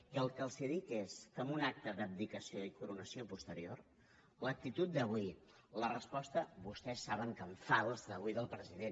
i el que els dic és que en un acte d’abdicació i coronació posterior l’actitud d’avui la resposta vostès saben que en fals d’avui del president